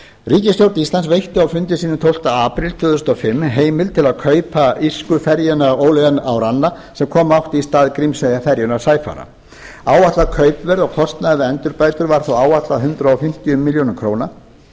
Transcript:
ríkisstjórn íslands veitti á fundi sínum tólfta apríl tvö þúsund og fimm heimild til að kaupa írsku ferjuna oileáin árann sem koma átti í stað grímseyjarferjunnar sæfara áætlað kaupverð og kostnaður við endurbætur var þá áætlað hundrað fimmtíu milljónir króna hinn tuttugasta og